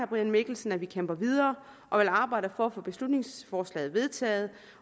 brian mikkelsen at vi kæmper videre og vil arbejde for at få beslutningsforslaget vedtaget